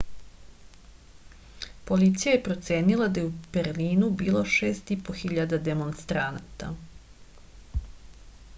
policija je procenila da je u berlinu bilo 6500 demonstranata